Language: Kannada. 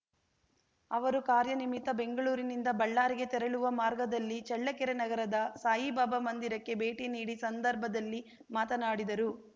ಅವರು ಕಾರ್ಯನಿಮಿತ್ತ ಬೆಂಗಳೂರಿನಿಂದ ಬಳ್ಳಾರಿಗೆ ತೆರಳುವ ಮಾರ್ಗದಲ್ಲಿ ಚಳ್ಳಕೆರೆ ನಗರದ ಸಾಯಿಬಾಬಾ ಮಂದಿರಕ್ಕೆ ಭೇಟಿ ನೀಡಿ ಸಂದರ್ಭದಲ್ಲಿ ಮಾತನಾಡಿದರು